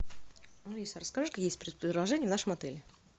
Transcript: алиса расскажи какие есть предложения в нашем отеле